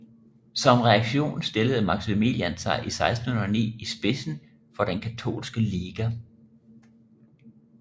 Som reaktion stillede Maximilian sig i 1609 i spidsen for Den katolske Liga